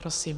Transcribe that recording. Prosím.